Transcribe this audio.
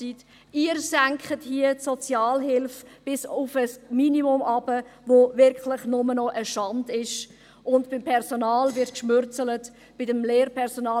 Sie senken hier die Sozialhilfe bis auf ein Minimum hinu nter, was wirklich nur noch eine Schande ist, und beim Personal ist man knausrig, beim Lehrpersonal.